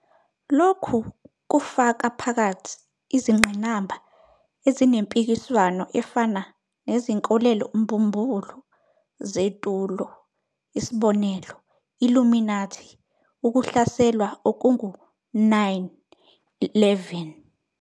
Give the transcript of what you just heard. Lokhu kufaka phakathi izingqinamba ezinempikiswano efana 'nezinkolelo-mbumbulu zetulo', isbI-Illuminati, ukuhlaselwa okungu-9-11, njl.